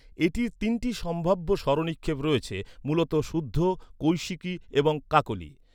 এটির তিনটি সম্ভাব্য স্বরনিক্ষেপ রয়েছে, মূলত শুদ্ধ, কৈশিকি এবং কাকলি।